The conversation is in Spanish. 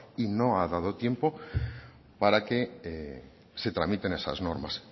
y no ha dado tiempo para que se tramiten esas normas